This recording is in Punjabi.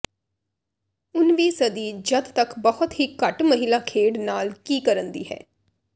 ਉਨ ਵੀ ਸਦੀ ਜਦ ਤੱਕ ਬਹੁਤ ਹੀ ਘੱਟ ਮਹਿਲਾ ਖੇਡ ਨਾਲ ਕੀ ਕਰਨ ਦੀ ਹੈ